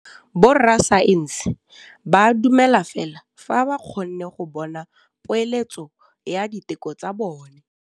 Borra saense ba dumela fela fa ba kgonne go bona poeletsô ya diteko tsa bone.